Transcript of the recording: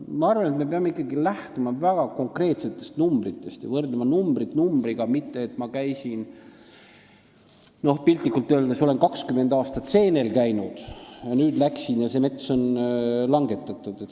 Ma arvan, et me peame ikkagi lähtuma väga konkreetsetest arvudest ja võrdlema arvu arvuga, mitte rääkima, et ma olen, piltlikult öeldes, kakskümmend aastat ühes metsas seenel käinud, aga kui ma nüüd läksin, siis see mets oli langetatud.